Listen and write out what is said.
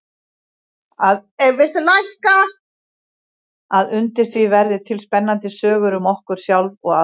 Að undir því verði til spennandi sögur um okkur sjálf og aðra.